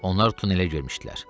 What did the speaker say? Onlar tunelə girmişdilər.